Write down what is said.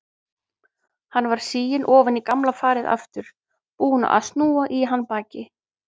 Hann var siginn ofan í gamla farið aftur, búinn að snúa í hann baki.